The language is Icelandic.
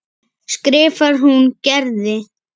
skrifar hún Gerði.